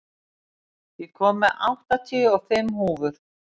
Gnýr, ég kom með áttatíu og fimm húfur!